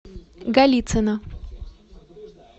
голицыно